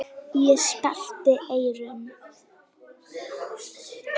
Ég sperrti eyrun.